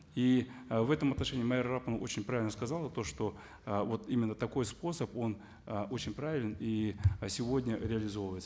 и ы в этом отношении майра араповна очень правильно сказала то что ы вот именно такой способ он ы очень правелен и ы сегодня реализовывается